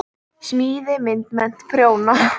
Smíði- myndmennt- prjóna